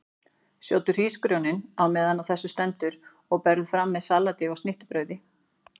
Sjóddu hrísgrjónin á meðan á þessu stendur og berðu fram með salati og snittubrauði.